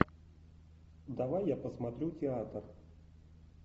давай я посмотрю театр